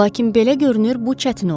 Lakin belə görünür bu çətin olacaq.